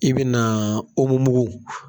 I bi na